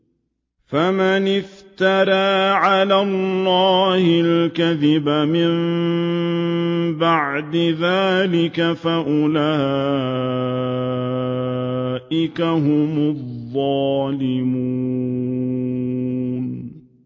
فَمَنِ افْتَرَىٰ عَلَى اللَّهِ الْكَذِبَ مِن بَعْدِ ذَٰلِكَ فَأُولَٰئِكَ هُمُ الظَّالِمُونَ